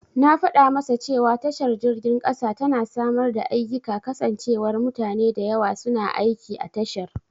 Na fada masa cewa tashar jirgin kasa tana samar da ayyika kasancewar mutane da yawa suna aiki a tashar.